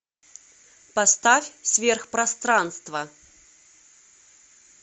поставь сверхпространство